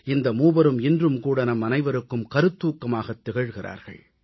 இந்த மூவரும் இன்றும் கூட நம் அனைவருக்கும் கருத்தூக்கமாகத் திகழ்கிறார்கள்